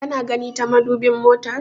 Kana gani ta madubin motar?